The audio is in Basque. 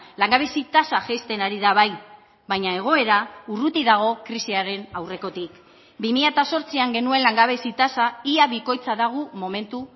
langabezi tasa jaisten ari da bai baina egoera urruti dago krisiaren aurrekotik bi mila zortzian genuen langabezi tasa ia bikoitza dago momentu